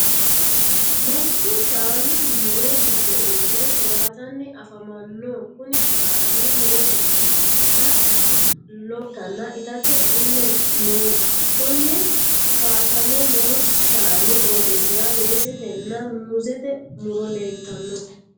Manchu shaanu muro gido uure towaatanni afamano. Kunni shaanni lowo geesha geeshasi lowoha ikanna itate iile no. Konni kaasame noo shaanni qooxeesira weesetenna muuzete muro leeltano.